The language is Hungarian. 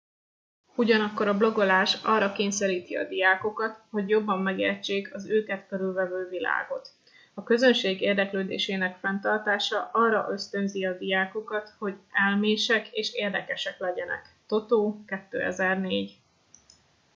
ugyanakkor a blogolás arra kényszeríti a diákokat hogy jobban megértsék az őket körülvevő világot.” a közönség érdeklődésének fenntartása arra ösztönzi a diákokat hogy elmések és érdekesek legyenek toto 2004